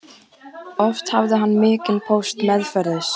Oft hafði hann mikinn póst meðferðis.